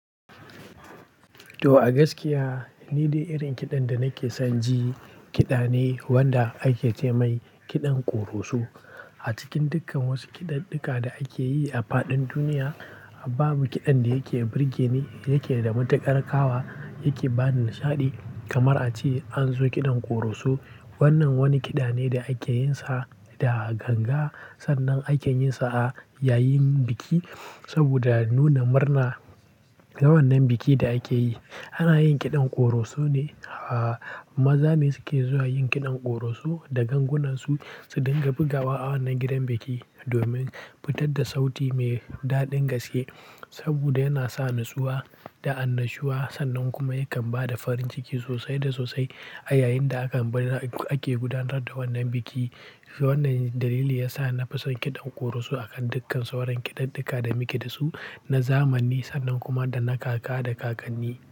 To a gaskiya, ni dai irin kiɗan da nake son ji kiɗa ne wanda ake ce mai kiɗan ƙoroso. A cikin dukkan wasu kiɗaɗɗuka da ake yi a faɗin duniya, babu kiɗan da yake birgene, yake da matuƙar ƙawa, yake ba ni nishaɗi kamar a ce an zo kiɗan ƙoroso. Wannan wani kiɗa ne da ake yin sa da ganga, sannan ake yin sa a yayin biki saboda nuna murna. Ga wannan bikin da ake yi, ana yin kiɗan ƙoroso ne. Maza ne suke zuwa yin kiɗan ƙoroso da gangunansu su dinga bugawa a wannan gidan biki domin fitar da sauti mai daɗin gaske saboda yana sa natsuwa da annashuwa sannan kuma ya kan ba da farin ciki sosai da sosai a yayin da aka, ke gudanar da wannan biki. Wannan dalili yasa nafi son kiɗan ƙoroso a kan dukkan sauran kiɗaɗɗuka da muke da su na zamani sannan kuma da na kaka da kakanni.